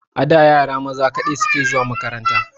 A da yara maza kaɗai suke zuwa makaranta.